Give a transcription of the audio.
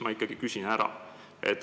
Ma ikkagi küsin ära.